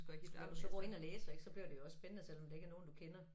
Og når du så går ind og læser ik så bliver det jo også spændende selvom det ikke er nogen du kender